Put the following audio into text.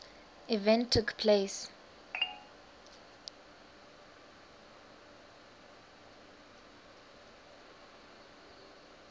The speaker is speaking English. event took place